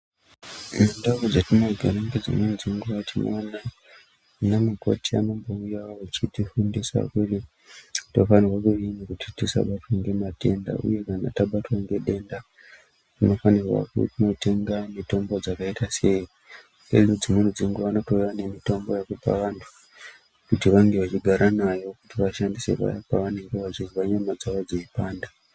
Mundau dzatinogara dzimweni dzenguva tinoona vanamukoti vanombouya vachitifundisa kuti tofanirwa kudii kuti tisabatwa ngematenda. Uye kana tabatwa ngedenda tinofanirwa kunotenga mitombo dzakaita sei uye dzimweni dzenguva vanotouya nemitombo yekupa vantu, kuti vange vachigara nayo kuti vashandise paya pavanenge vachinzwa nyama dzavo dzeipanda.